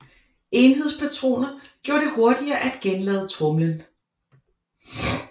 Enhedspatroner gjorde det hurtigere at genlade tromlen